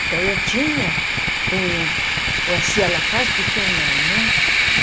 Então, eu tinha um... se ela faz, por que eu não, né?